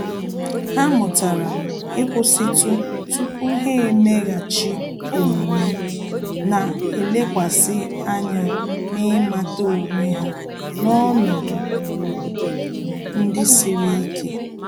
Há mụ́tàrà íkwụ́sị́tụ tupu há èméghàchí omume, nà-èlékwasị ányá na ị́màtà onwe ha n’ọnọdụ ndị siri ike.